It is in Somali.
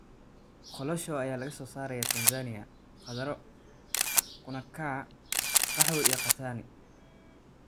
Kolosho ayaa laga soo sarayaa Tanzania kaddaro, kuna kaa, qaxwo iyo katani.